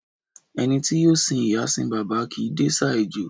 Ẹni tí yóò sìn ìyá, sín bàbá, kìí dẹsà ejò.